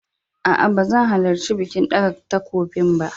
A'a ba zan halarci bikin ɗaga takobin ba.